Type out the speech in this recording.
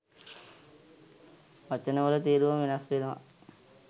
වචනවල තේරුම වෙනස් වෙනවා